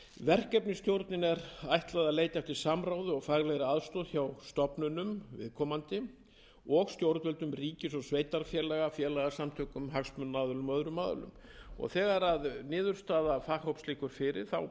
verkefnisstjórninni er ætlað að leita eftir samráði og faglegri aðstoð hjá viðkomandi stofnunum og stjórnvöldum ríkis og sveitarfélaga félagasamtökum hagsmunaaðilum og öðrum aðilum þegar niðurstaða faghóps liggur fyrir ber verkefnastjórn að vinna